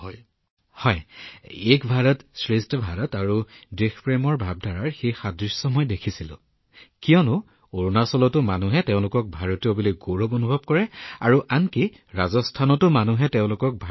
gamer জীঃ মোদীজী মই দেখা পোৱা এক সাদৃশ্য আছিল দেশৰ প্ৰতি থকা প্ৰেম আৰু এক ভাৰত শ্ৰেষ্ঠ ভাৰতৰ দৃষ্টিভংগী আৰু অনুভূতি কিয়নো অৰুণাচলতো জনসাধাৰণে তেওঁলোক ভাৰতীয় বুলি গৌৰৱ অনুভৱ কৰে আৰু একেদৰে ৰাজস্থানতো জনসাধাৰণে তেওঁলোকৰ মাতৃভূমিক লৈ গৌৰৱান্বিত